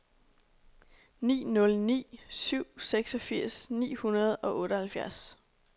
ni nul ni syv seksogfirs ni hundrede og otteoghalvfjerds